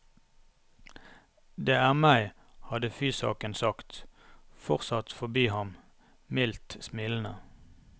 Det er meg, hadde fysaken sagt, fortsatt forbi ham, mildt smilende.